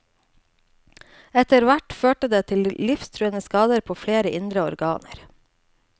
Etterhvert førte det til livstruende skader på flere indre organer.